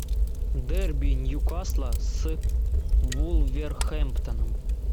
дерби ньюкасла с вулверхэмптоном